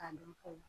K'a dɔn ka fɔ